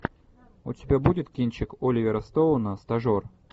у тебя будет кинчик оливера стоуна стажер